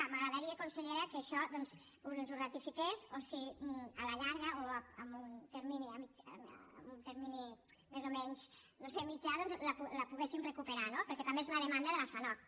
m’agradaria consellera que això ens ho ratifiques o si a la llarga o en un termini més o menys no ho sé mitjà ho poguéssim recuperar no perquè també és una demanda de la fanoc